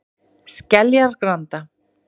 Skeljagranda